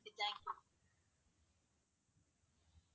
okay thank you